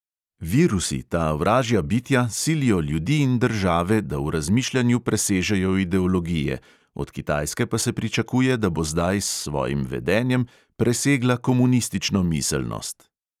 Virusi, ta vražja bitja, silijo ljudi in države, da v razmišljanju presežejo ideologije, od kitajske pa se pričakuje, da bo zdaj s svojim vedenjem presegla komunistično miselnost.